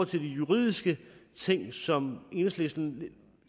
til de juridiske ting som enhedslisten